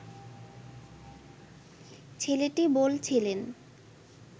ছেলেটি বলছিলেন